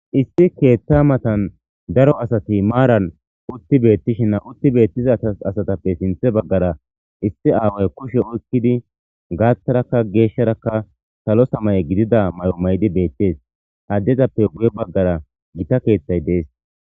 Iss ketha matan daro asati maran utthi betishe utti betiza asatappe sintha bagara issi awayi kushe oyikidi gatharaka gesharaka salo samaye mayo mayidi betees adezappe guye bagara githa kethayi dee,es